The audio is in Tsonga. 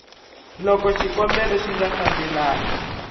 loko xikombelo xi nga fambelani